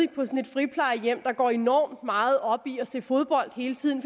friplejehjem man går enormt meget op i at se fodbold hele tiden